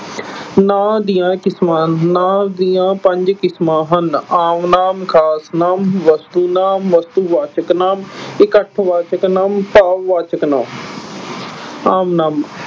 ਨਾਂ ਦੀਆਂ ਕਿਸਮਾਂ, ਨਾਂਵ ਦੀਆਂ ਪੰਜ ਕਿਸਮਾਂ ਹਨ। ਆਮ ਨਾਂਵ, ਖਾਸ ਨਾਂਵ, ਵਸਤੂ ਨਾਂਵ, ਵਸਤੂਵਾਚਕ ਨਾਂਵ, ਇਕੱਠਵਾਚਕ ਨਾਂਵ, ਭਾਵਵਾਚਕ ਨਾਂਵ, ਆਮ ਨਾਂਵ